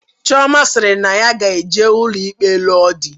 Chiọma sịrị na ya ga-eje n'ụlọ ikpe lụọ di.